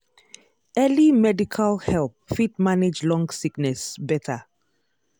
early medical help fit manage long sickness better.